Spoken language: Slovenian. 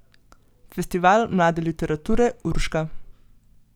Festival mlade literature Urška.